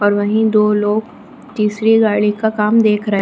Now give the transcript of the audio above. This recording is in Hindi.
और वहीं दो लोग तीसरी गाड़ी का काम देख रहे हैं।